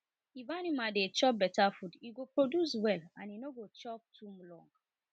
if animal dey chop better food e go produce well and e no go chop too long